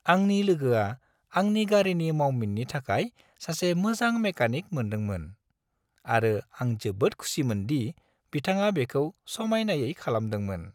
आंनि लोगोआ आंनि गारिनि मावमिननि थाखाय सासे मोजां मेकानिक मोनदोंमोन आरो आं जोबोद खुसिमोन दि बिथाङा बेखौ समायनायै खालामदोंमोन।